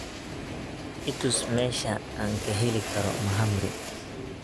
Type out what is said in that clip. i tus meesha aan ka heli karo mahamri